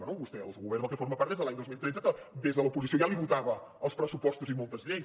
bé vostè el govern del qual forma part des de l’any dos mil tretze que des de l’oposició ja li votava els pressupostos i moltes lleis